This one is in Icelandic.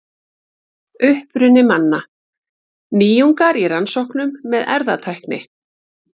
Uppruni manna: Nýjungar í rannsóknum með erfðatækni.